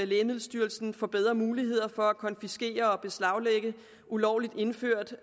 lægemiddelstyrelsen får bedre muligheder for at konfiskere og beslaglægge ulovligt indført